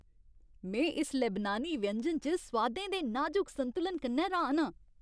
में इस लेबनानी व्यंजन च सोआदें दे नाजुक संतुलन कन्नै र्‌हान आं।